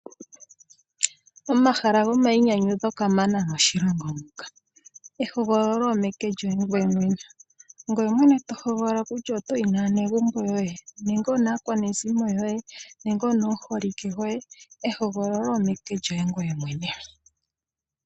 Omahala gomainyanyudho kamana moshilongo muka, ehogololo omeke lyoye ngoye mwene. Ongoye mwene to hogolola kutya otoyi naanegumbo yoye nenge onaakwanezimo yoye nenge onomuholike goye, ehogololo omeke lyoye ngoye mwene.